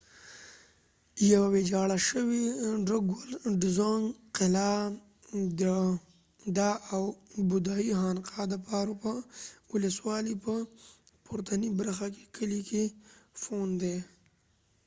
drukgual dzong یوه ویجاړه شوې قلعه ده او بودایی خانقاه د پارو ولسوالۍ په پورتنۍ برخه کې په phondey کلي کې